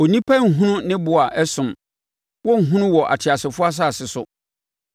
Onipa renhunu ne bo a ɛsom; wɔrenhunu wɔ ateasefoɔ asase so.